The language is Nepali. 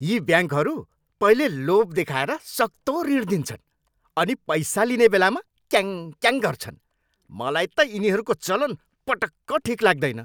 यी ब्याङ्कहरू पहिले लोभ देखाएर सक्तो ऋण दिन्छन् अनि पैसा लिने बेलामा क्याङक्याङ गर्छन्। मलाई त यिनीहरूको चलन पटक्क ठिक लाग्दैन।